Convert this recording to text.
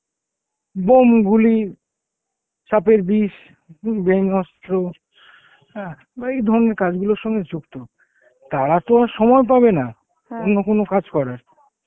bomb, গুলি, সাপের বিষ, উম ব্যাঙ অস্ত্র হ্যাঁ বা এই ধরনের কাজগুলোর সঙ্গে যুক্ত তারা তো আর সময় পাবে না অন্য কোন কাজ করার,